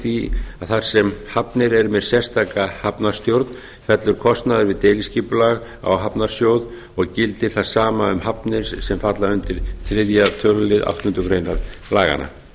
því að þar sem hafnir eru með sérstaka hafnarstjórn fellur kostnaður við deiliskipulag á hafnarsjóð og gildir það sama um hafnir sem falla undir þriðja tölulið áttundu grein laganna